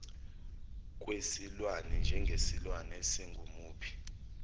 kwesilwane njengesilwane esingumuphi